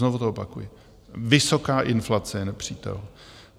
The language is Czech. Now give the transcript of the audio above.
Znovu to opakuji, vysoká inflace je nepřítel.